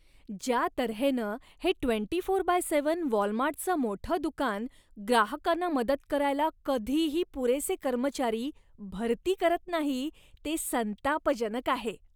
ज्या तऱ्हेनं हे ट्वेंटी फोर बाय सेव्हन वॉलमार्टचं मोठं दुकान ग्राहकांना मदत करायला कधीही पुरेसे कर्मचारी भरती करत नाही, ते संतापजनक आहे.